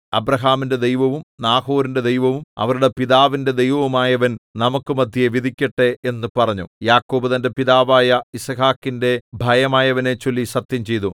അബ്രാഹാമിന്റെ ദൈവവും നാഹോരിന്റെ ദൈവവും അവരുടെ പിതാവിന്റെ ദൈവവുമായവൻ നമുക്കു മദ്ധ്യേ വിധിക്കട്ടെ എന്നു പറഞ്ഞു യാക്കോബ് തന്റെ പിതാവായ യിസ്ഹാക്കിന്റെ ഭയമായവനെച്ചൊല്ലി സത്യംചെയ്തു